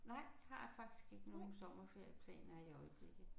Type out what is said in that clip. Nej jeg har faktisk ikke nogle sommerferieplaner i øjeblikket